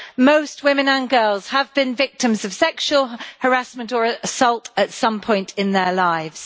Most women and girls have been victims of sexual harassment or assault at some point in their lives.